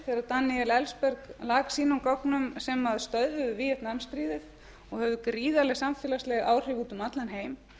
daníel ellsberg lak sínum gögnum sem stöðvuðu víetnam stríðið og hafði gríðarleg samfélagsleg áhrif út um allan heim síðan